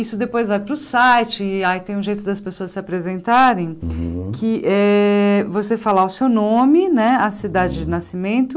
Isso depois vai para o site e aí tem um jeito das pessoas se apresentarem que é você falar o seu nome né, a cidade de nascimento,